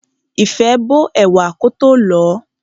Ìfẹ́ bó ẹ̀wà kótó lọ̀ọ́.